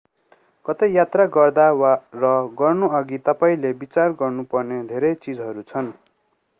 कतै यात्रा गर्दा र गर्नु अघि तपाईंले विचार गर्नु पर्ने धेरै चीजहरू छन्